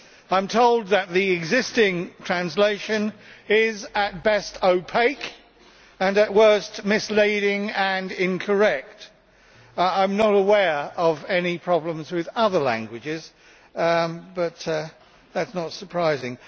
I am told that the existing translation is at best opaque and at worst misleading and incorrect. I am not aware of any problems with other languages, but that is not surprising.